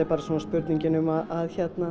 spurningin um að